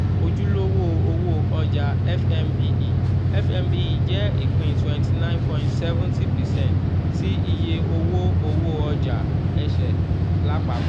ojulowó-òwò ọjà fnbe fnbe jẹ́ ipin twenty nine point seventy percent ti iye owó-òwò ọjà ese lapapọ.